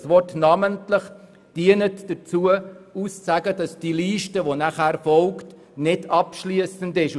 Dieses Wort dient aber dazu auszusagen, dass die Liste, die folgt, nicht abschliessend ist.